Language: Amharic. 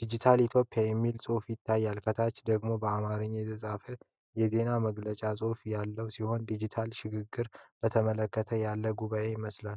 “Digital Ethiopia” የሚል ጽሑፍ ይታያል። ከታች ደግሞ በአማርኛ የተጻፈ የዜና መግለጫ ጽሑፍ ያለው ሲሆን፣ የዲጂታል ሽግግርን በተመለከተ ያለ ጉባኤ ይመስላል።